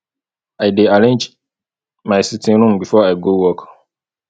i dey arrange my sitting room before i go work